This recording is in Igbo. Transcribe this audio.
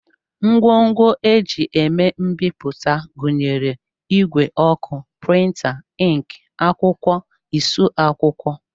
Ngwongwo e ji eme mbipụta gụnyere ìgwè ọkụ, prịnta, ịnkị, akwụkwọ, esu akwụkwọ